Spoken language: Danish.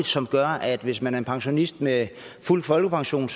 som gør at hvis man er en pensionist med fuld folkepension